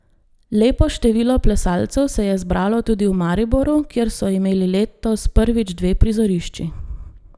Lepo število plesalcev se je zbralo tudi v Mariboru, kjer so imeli letos prvič dve prizorišči.